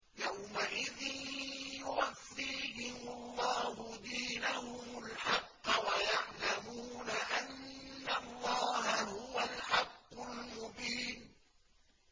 يَوْمَئِذٍ يُوَفِّيهِمُ اللَّهُ دِينَهُمُ الْحَقَّ وَيَعْلَمُونَ أَنَّ اللَّهَ هُوَ الْحَقُّ الْمُبِينُ